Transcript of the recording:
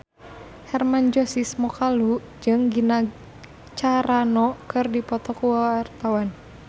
Hermann Josis Mokalu jeung Gina Carano keur dipoto ku wartawan